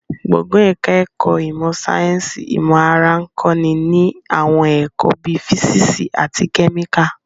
Gbọ̀ngàn ẹ̀ka ẹ̀kọ́ ìmọ̀ sáyẹ́nsì ìmọ̀ ara ń kọ́ ni ní àwọn ẹ̀kọ́ bíi físíìsì àti kẹ́míkà